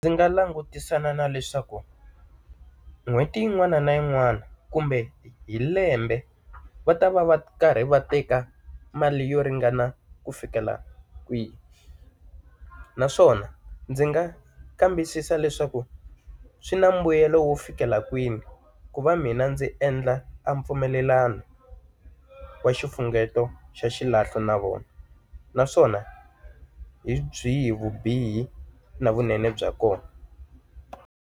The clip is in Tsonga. Ndzi nga langutisana na leswaku, n'hweti yin'wana na yin'wana kumbe hi lembe va ta va va karhi va teka mali yo ringana ku fikela kwihi? Naswona ndzi nga kambisisa leswaku swi na mbuyelo wo fikela kwini ku va mina ndzi endla a mpfumelelano wa xifunengeto xa xilahlo na vona? Naswona hi byihi vubihi na vunene bya kona?